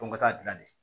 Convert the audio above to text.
Ko ka taa dilan de